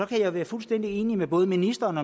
kan være fuldstændig enig med både ministeren